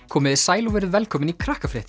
komiði sæl og verið velkomin í